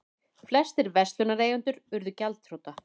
Flestir verslunareigendur urðu gjaldþrota.